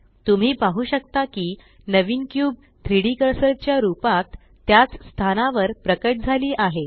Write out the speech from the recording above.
तुम्ही पाहु शकता की नवीन क्यूब 3डी कर्सर च्या रूपात त्याच स्थानावर प्रकट झाली आहे